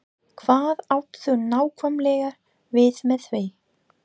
Hvað áttu nákvæmlega við með því?